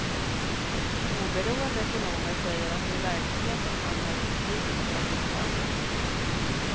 Oberoende ekonomer säger att det i verkligheten handlar om betydligt högre tal.